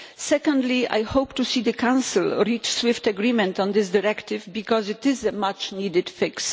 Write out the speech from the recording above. Secondly, I hope to see the Council reach swift agreement on this directive because it is a much-needed fix.